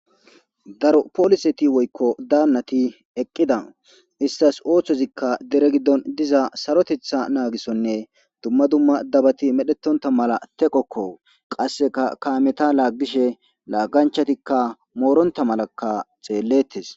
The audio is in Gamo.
daro poliseti woykko daannati eqqida istas ooththozikka dere giddon diza sarotetha naagisonne dumma dumma dabati medhetonta mala teqokko qasseka kameta laaggishe laagganchatikka mooronta malakka xeellettes